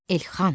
Elxan!